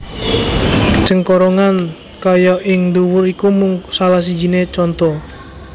Cengkorongan kaya ing dhuwur iku mung salah sijine conto